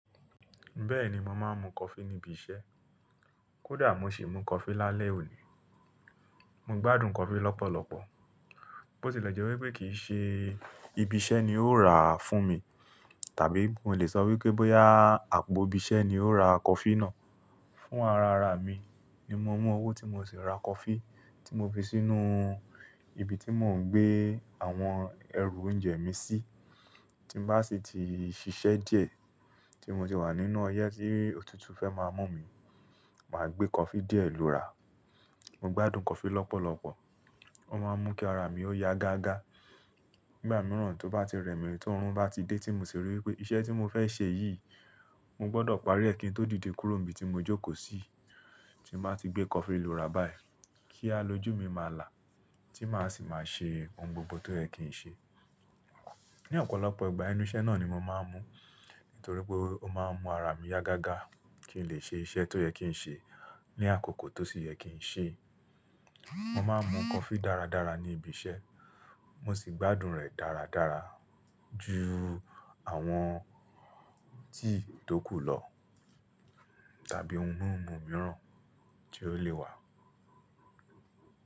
Bẹ́ẹ̀ni, mo máa ń mu coffee níbi iṣẹ́. Kódà mo sì mu coffee lálẹ́ òní. Mo gbádùn coffee lọ́pọ̀lọpọ̀. Bó ti lẹ́ je wípé kìí ṣe ibi iṣẹ́ ni ó rà á fún mi, tàbí mo le sọ wípé bóyá àpò ibi iṣẹ́ ni ó ra coffee náà. Fún ara ara mi ni mo mú owó tí mo sì ra coffee tí mo fi sínú ibi tí mò ń gbé àwọn ẹrù oúnjẹ mi sí. Tí bá sì ti ṣiṣẹ́ díẹ̀, tí mo ti wà nínú ọyẹ́ tí òtútù fẹ́ máa mú mi, màá gbé coffee díẹ̀ lò ra. Mo gbádùn coffee lọ́pọ̀lọpọ̀. Ó máa ń mú kí ara mi ó yá gágá. Igba mìíràn tó bá ti rẹmi, tó run bá ti dé tí mo sì rí wípé iṣẹ́ tí mo fẹ́ ṣe yìí, mo gbọdọ̀ parí ẹ́ kí n tó dìde kúrò níbi tí mo jókòó sí, tí màá ti gbé coffee lò ra báyìí kí a lojú mi máa là, tí màá sì máa ṣe ohun gbogbo tó yẹ kí n ṣe. Ni ọ̀pọ̀lọpọ̀ ìgbà, inú iṣẹ́ náà ni mo máa ń mú, nítorí pé ó máa ń mú ara mi yá gágá kí n lè ṣe iṣẹ́ tó yẹ kí n ṣe ní àkókò tó sì yẹ kí n ṣe. Mo máa ń mu coffee dáradára ní ibi iṣẹ́. Mo sì gbádùn rẹ̀ dáradára ju àwọn tíì tókù lọ tàbí ohun mímu mìíràn tí ó lè wà.